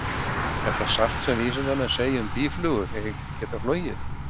Er það satt sem að vísindamenn segja um að býflugur eigi ekki að geta flogið?